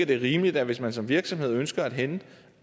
det er rimeligt at hvis man som virksomhed ønsker at hente